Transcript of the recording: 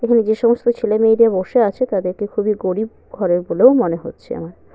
এবং যে সমস্ত ছেলেমেয়েদের বসে আছে তাদের কে খুবই গরিব ঘরের বলেও মনে হচ্ছে আমার।